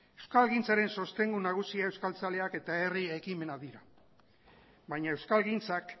euskalgintzaren sostengu nagusia euskaltzaleak eta herri ekimenak dira baina euskalgintzak